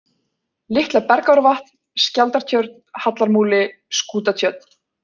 Litla-Bergárvatn, Skjaldartjörn, Hallarmúli, Skútatjörn